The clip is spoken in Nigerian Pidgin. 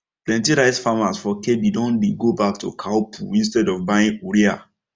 plenty rice farmers for kebbi don dey go back to cow poo instead of buying urea